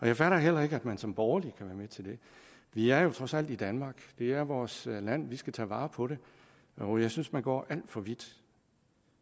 jeg fatter heller ikke at man som borgerlig kan være med til det vi er jo trods alt i danmark det er vores land vi skal tage vare på det og jeg synes man går alt for vidt